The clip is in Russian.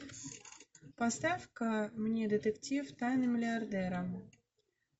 поставь ка мне детектив тайны миллиардера